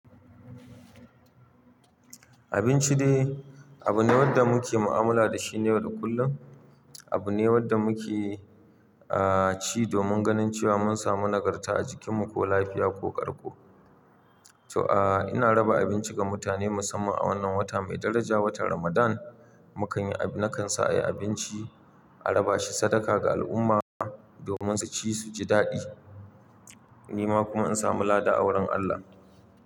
Abinci dai abu ne wanda muke mu'amala da shi na yau da kullum. Abu ne wanda muke, ah, ci domin ganin cewa mun samu nagarta a jikinmu ko lafiya ko ƙarƙo. To, ah, ina raba abinci ga mutane musamman a wannan wata mai daraja, watan Ramadan. Mukanyi, na kan sa, yi abinci, a raba shi sadaka ga al'umma domin su ci su ji daɗi. Ni ma kuma in samu lada a wurin Allah.